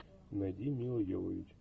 найди милла йовович